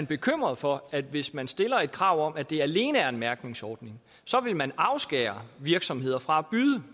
bekymret for at hvis man stiller et krav om at det alene er en mærkningsordning så vil man afskære virksomheder fra at byde